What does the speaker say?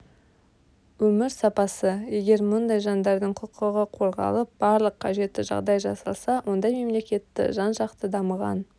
өмір сапасы егер мұндай жандардың құқығы қорғалып барлық қажетті жағдай жасалса ондай мемлекетті жан-жақты дамыған